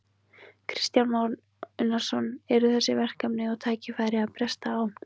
Kristján Már Unnarsson: Og eru þessi verkefni og tækifæri að bresta á?